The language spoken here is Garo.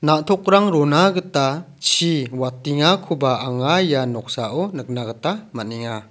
na·tokrang rona gita chi watengakoba anga ia noksao nikna gita man·enga.